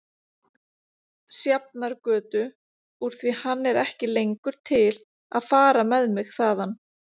Sjafnargötu úr því hann er ekki lengur til að fara með mig þaðan.